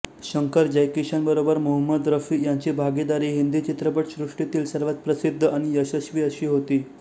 शंकर जयकिशनबरोबर मोहमद रफी यांची भागीदारी हिंदी चित्रपटसृष्टीतली सर्वात प्रसिद्ध आणि यशस्वी अशी होती